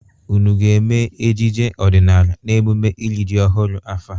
Ụnụ ga-eme ejije ọdịnala n'eMụme iri ji ọhụrụ afọ a?